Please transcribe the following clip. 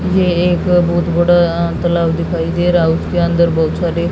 ये एक बहुत बड़ा अ तलाब दिखाई दे रहा है उसके अंदर बहुत सारे--